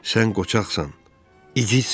Sən qoçaqsan, igidsən.